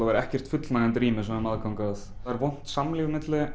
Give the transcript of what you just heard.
ekkert fullnægjandi rými sem við höfum aðgang að það er vont samlífi á milli